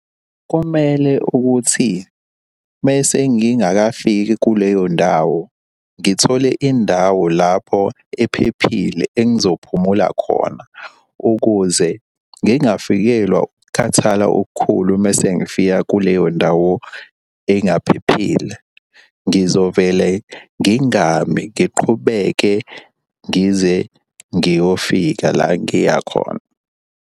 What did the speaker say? Komele ukuthi mese ngingakafiki kuleyo ndawo, ngithole indawo lapho ephephile engizophumula khona ukuze ngingafikelwa ukukhathala okukhulu uma sengifika kuleyo ndawo engaphephile. Ngizovele ngingami ngiqhubeke ngize ngiyofika la ngiya khona.